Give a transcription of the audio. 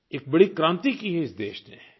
एक बड़ी क्रांति की है इस देश ने